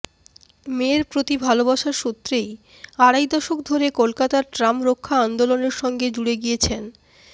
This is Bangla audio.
মের প্রতি ভালবাসার সূত্রেই আড়াই দশক ধরে কলকাতার ট্রাম রক্ষা আন্দোলনের সঙ্গে জুড়ে গিয়েছেন